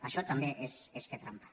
això també és fer trampa